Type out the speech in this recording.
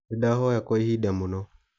Nindahoya kwa ihinda mũno